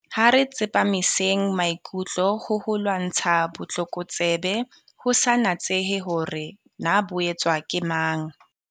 Ha re tsepamiseng maikutlo ho ho lwantsha botlokotsebe, ho sa natsehe hore na bo etswa ke mang.